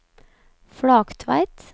Flaktveit